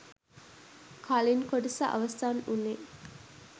කලින් කොටස අවසන් උනේ